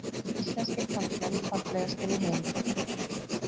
Íslenskir karlmenn fallegastir í heimi